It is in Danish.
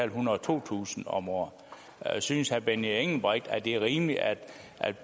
ethundrede og totusind kroner om året synes herre benny engelbrecht at det er rimeligt at